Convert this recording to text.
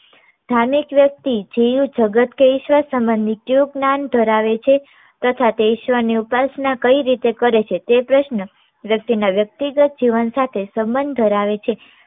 ધાર્મિક વ્યક્તિ જીવ જગત કે ઈશ્વર સંબંધી જેઉ જ્ઞાન ધરાવે છે તથા તે ઈશ્વર ની ઉપાસના કઈ રીતે કરે છે તે પ્રશ્ન વ્યક્તિના વ્યક્તિગત જીવન સાથે સંબંધ ધરાવે છે.